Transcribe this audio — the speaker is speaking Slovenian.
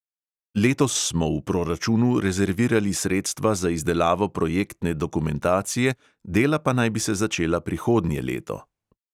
Letos smo v proračunu rezervirali sredstva za izdelavo projektne dokumentacije, dela pa naj bi se začela prihodnje leto.